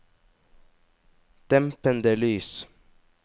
dempede lys